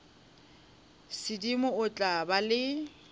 sedimo o tla ba le